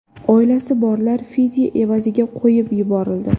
Oilasi borlar fidya evaziga qo‘yib yuborildi.